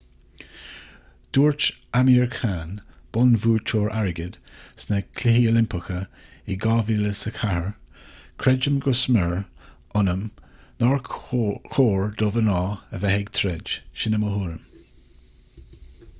dúirt amir khan bonnbhuaiteoir airgid sna cluichí oilimpeacha in 2004 creidim go smior ionam nár chóir do mhná a bheith ag troid sin í mo thuairim